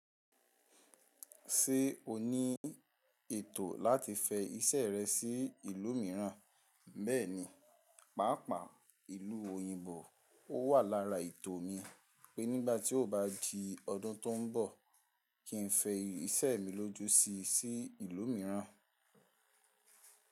Ṣé o ní ètò láti fẹ iṣẹ́ rẹ sí ìlú mìíràn? Bẹ́ẹ̀ni, pàápàá ìlú òyìnbó ó wà lára ètò mi pé nígbà tí ó bá di ọdún tó ń bọ̀ kí ń fẹ iṣẹ́ mi lójo sí sí ìlú mìíràn.